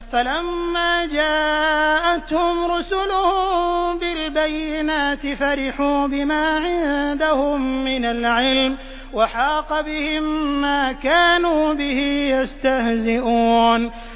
فَلَمَّا جَاءَتْهُمْ رُسُلُهُم بِالْبَيِّنَاتِ فَرِحُوا بِمَا عِندَهُم مِّنَ الْعِلْمِ وَحَاقَ بِهِم مَّا كَانُوا بِهِ يَسْتَهْزِئُونَ